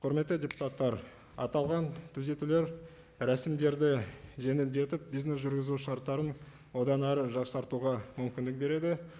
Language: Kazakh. құрметті депутаттар аталған түзетулер рәсімдерді жеңілдетіп бизнес жүргізу шарттарын одан әрі жақсартуға мүмкіндік береді